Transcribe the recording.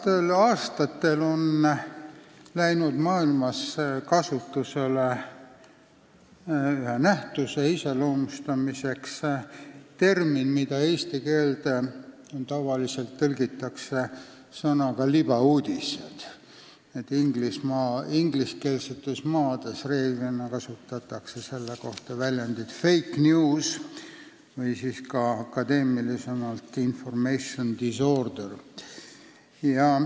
Viimastel aastatel on maailmas ühe nähtuse iseloomustamiseks läinud kasutusele termin, mida eesti keelde tavaliselt tõlgitakse sõnaga "libauudised", ingliskeelsetes maades kasutatakse selle kohta väljendit fake news või akadeemilisemalt information disorder.